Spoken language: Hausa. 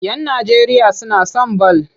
Yan Najeriya suna son bal.